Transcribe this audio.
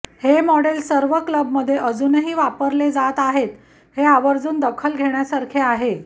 हे मॉडेल सर्वात क्लब मध्ये वापरले जाऊ अजूनही आहेत हे आवर्जून दखल घेण्यासारखे आहे